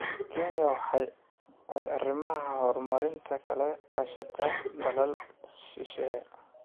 Kenya waxa ay arrimaha horumarinta kala kaashataa dalal shisheeye.